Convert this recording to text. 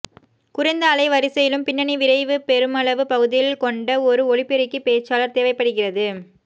குறைந்த அலைவரிசையிலும் பின்னணி விரைவி பெருமளவு பகுதியில் கொண்ட ஒரு ஒலிபெருக்கி பேச்சாளர் தேவைப்படுகிறது